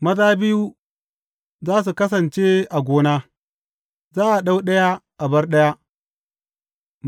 Maza biyu za su kasance a gona; za a ɗau ɗaya a bar ɗaya.